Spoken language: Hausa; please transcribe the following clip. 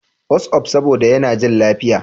WhatsApp, saboda yana jin lafiya.